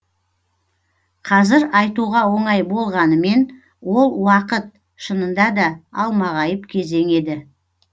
қазір айтуға оңай болғанымен ол уақыт шынында да алмағайып кезең еді